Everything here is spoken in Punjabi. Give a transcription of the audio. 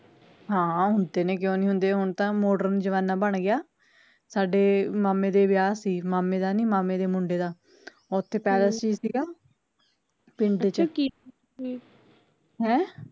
ਹਾਂ ਹੁੰਦੇ ਨੇ ਕਿਓ ਨੀ ਹੁੰਦੇ ਹੁਣ ਤਾਂ modern ਜ਼ਮਾਨਾ ਬਣ ਗਿਆ, ਸਾਡੇ ਮਾਮੇ ਦੇ ਵਿਆਹ ਸੀ, ਮਾਮੇ ਦਾ ਨੀ ਮਾਮੇ ਦੇ ਮੁੰਡੇ ਦਾ, ਓਥੇ palace ਈ ਸੀਗਾ ਪਿੰਡ ਚ ਹੈਂ